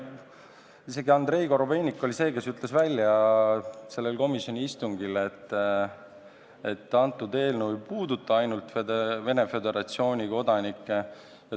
Isegi Andrei Korobeinik oli see, kes ütles välja sellel komisjoni istungil, et eelnõu ei puuduta ainult Venemaa Föderatsiooni kodanikke.